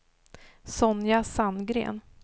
Sonja Sandgren